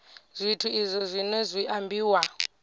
zwithu izwi zwino zwi ambiwa